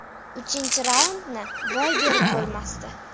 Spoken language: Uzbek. Uchinchi raundni boy berib bo‘lmasdi.